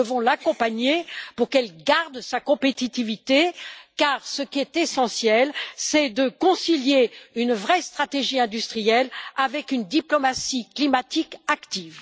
Nous devons l'accompagner pour qu'elle garde sa compétitivité car, ce qui est essentiel, c'est de concilier une vraie stratégie industrielle avec une diplomatie climatique active.